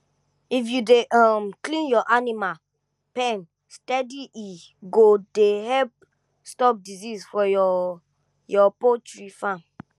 if you dey um clean your animal pen steady e go dey help stop disease for your your poultry farm